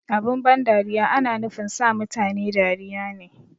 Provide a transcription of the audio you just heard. Abin ban dariya ana nufin sa mutane dariya ne